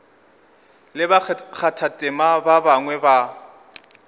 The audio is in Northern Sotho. le bakgathatema ba bangwe ba